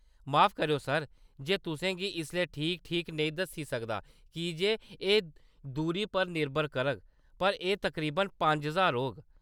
माफ करेओ, सर, मैं तुसें गी इसलै ठीक-ठीक नेईं दस्सी सकदा कीजे एह्‌‌ दूरी पर निर्भर करग, पर एह्‌‌ तकरीबन पंज ज्हार होग।